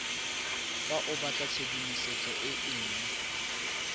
fa o batlatshedimosetso e nngwe